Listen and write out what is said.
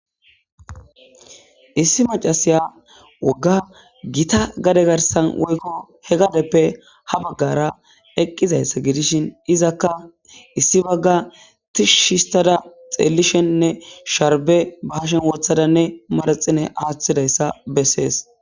Issi macasiya wogga gita gade garsan woykko he gadeppe ha baggara eqqizayssa gidishin izakka issi bagga tishistada xeellishennne sharbe bahashen wothadanne maraxine aaththidayssa bessees.